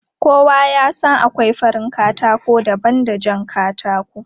Kowa ya san akwai farin katako daban da jan katako.